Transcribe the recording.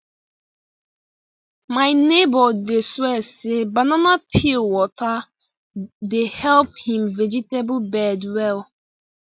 my neighbor dey swear say banana peel water dey help him vegetable bed well